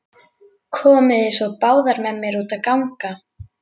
Komiði svo báðar með mér út að ganga.